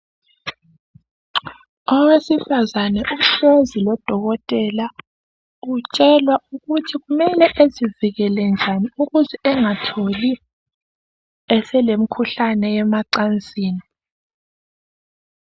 Owesifazane uhlezi lodokotela, utshelwa ukuthi kumele ezivikele njani ukuze engatholi eselemkhuhlane yemacansini.